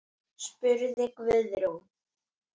spurði Guðrún.